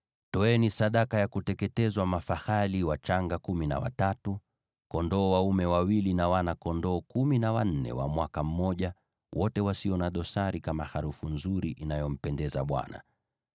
Toeni sadaka ya kuteketezwa mafahali wachanga kumi na watatu, kondoo dume wawili, na wana-kondoo kumi na wanne wa mwaka mmoja, wote wasio na dosari, kama harufu nzuri inayompendeza Bwana .